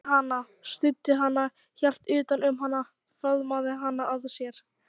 Hann leiddi hana, studdi hana, hélt utan um hana, faðmaði hana að sér.